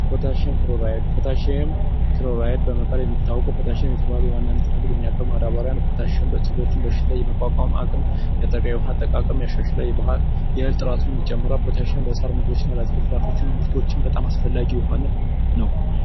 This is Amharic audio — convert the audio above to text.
ፖታሽየም ክሎራይድ፡ ፖታሽየም ክሎራይድ በመባል የሚታወቀው ፖታሺየም የሚባሉ ዋና ንጥረ ነገሮች የያዘ ማዳበሪያ ነው፤ በተለይ በሽታ የመቋቋም አቅሙና በተለይ ውሃማ የእህል ጥራትንም ይጨምራል። ለተክሎችና ለአትክልትና ፍራፍሬዎች በጣም አስፈላጊ የሆነ ነው።